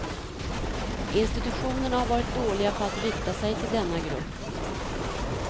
Institutionerna har varit dåliga på att rikta sig till denna grupp.